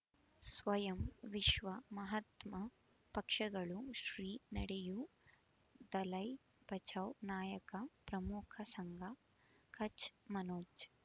ಸ್ವಯಂ ವಿಶ್ವ ಮಹಾತ್ಮ ಪಕ್ಷಗಳು ಶ್ರೀ ನಡೆಯೂ ದಲೈ ಬಚೌ ನಾಯಕ ಪ್ರಮುಖ ಸಂಘ ಕಚ್ ಮನೋಜ್